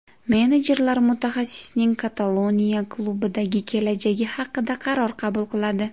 Menejerlar mutaxassisning Kataloniya klubidagi kelajagi haqida qaror qabul qiladi.